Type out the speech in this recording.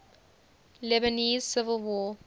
lebanese civil war